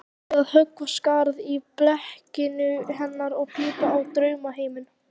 Átti ég að höggva skarð í blekkingu hennar og pípa á draumaheiminn?